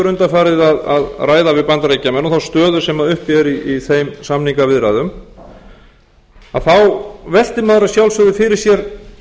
undanfarið að ræða við bandaríkjamenn og þá stöðu sem uppi er í þeim samningaviðræðum þá veltir maður að sjálfsögðu fyrir sér